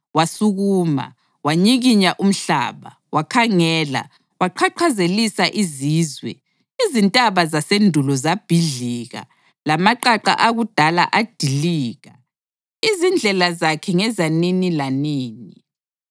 Wasukuma, wanyikinya umhlaba; wakhangela, waqhaqhazelisa izizwe. Izintaba zasendulo zabhidlika lamaqaqa akudala adilika. Izindlela zakhe ngezanini lanini.